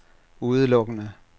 udelukkende